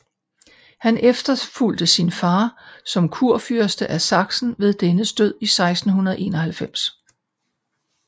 Han efterfulgte sin far som kurfyrste af Sachsen ved dennes død i 1691